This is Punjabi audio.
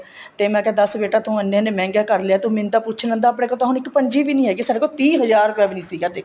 ਤੇ ਮੈਂ ਕਿਆ ਦੱਸ ਬੇਟਾ ਤੂੰ ਐਨੇ ਐਨੇ ਮੰਹਿਗੇ ਕਰ ਲਿਆ ਤੂੰ ਮੈਨੂੰ ਤਾਂ ਪੁੱਛ ਲੈਂਦਾ ਆਪਣੇ ਕੋਲ ਤਾਂ ਇੱਕ ਪੰਜੀ ਵੀ ਨਹੀਂ ਹੈਗੀ ਸਾਡੇ ਕੋਲ ਤੀਹ ਹਜ਼ਾਰ ਰੁਪਇਆ ਵੀ ਨਹੀਂ ਸੀਗਾ ਦੇਖੋ